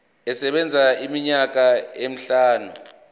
isebenza iminyaka emihlanu